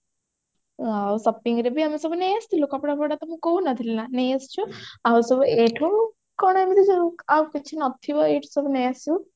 ଆଉ shopping ରେ ବି ଆମେ ସବୁ ନେଇ ଆସିଥିଲୁ କପଡା ଫପଡା ତମକୁ କହୁଥିଲି ନା ନେଇ ଆସିଛୁ ଆଉ ସବୁ ଏଇଠୁ କଣ ଏମିତି ଆଉ କିଛି ନଥିବ ଏଇଠୁ ନେଇ ଆସିବୁ